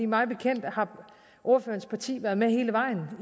mig bekendt har ordførerens parti været med hele vejen